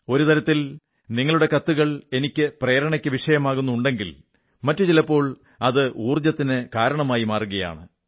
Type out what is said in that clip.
ഒരു തരത്തിൽ നിങ്ങളുടെ കത്തുകളും എനിക്ക് പ്രേരണയ്ക്കു വിഷയമാകുന്നുണ്ടെങ്കിൽ മറ്റു ചിലപ്പോൾ അത് ഊർജ്ജത്തിനു കാരണമായി മാറുകയാണ്